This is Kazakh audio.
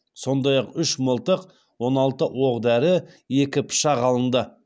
сондай ақ үш мылтық он алты оқ дәрі екі пышақ алынды